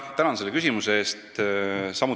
Tänan selle küsimuse eest!